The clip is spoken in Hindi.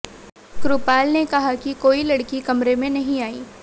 कृपाल ने कहा कि कोई लड़की कमरे में नहीं आई